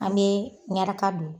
An bee ɲaraka don